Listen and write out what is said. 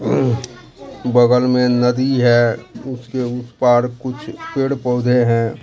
अं बगल में नदी है उसके उस पार कुछ पेड़ पौधे हैं।